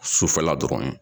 Sufɛla dɔrɔn ye